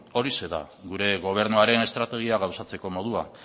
horixe da gure gobernuaren estrategia gauzatzeko modua